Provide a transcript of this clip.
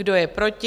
Kdo je proti?